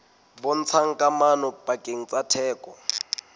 bontshang kamano pakeng tsa theko